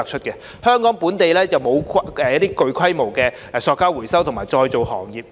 香港本地並無具規模的廢塑膠回收及再造行業。